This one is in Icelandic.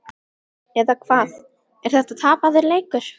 Eða hvað. er þetta tapaður leikur?